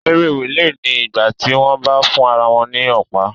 Eré rìlè ni ìgbà tí wọ́n bá ń fún ara wọn ní Ọ̀pá